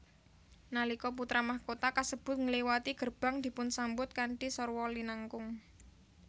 Nalika putra mahkota kasebut ngliwati gerbang dipunsambut kanthi sarwa linangkung